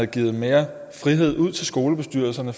givet mere frihed ud til skolebestyrelserne